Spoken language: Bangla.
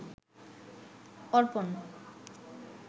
অর্পণ